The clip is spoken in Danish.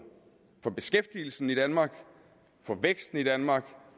for beskæftigelsen i danmark for væksten i danmark